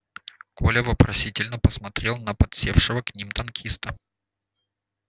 коля вопросительно посмотрел на подсевшего к ним танкиста